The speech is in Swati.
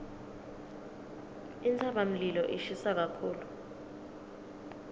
intsabamlilo ishisa kakhulu